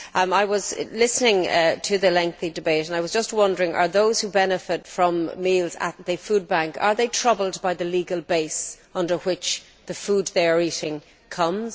I was listening to the lengthy debate and I was just wondering whether those who benefit from meals at the food bank are troubled by the legal base under which the food they are eating comes?